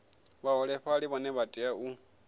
vhaholefhali vhane vha tea u